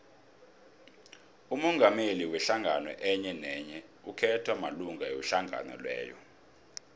umongameli wehlangano enyenenye ukhethwa malunga wehlangano leyo